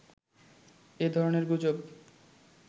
এ ধরনের গুজব